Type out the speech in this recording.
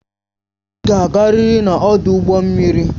Ị ga-agarịrị n'ọdụ ụgbọ mmiri!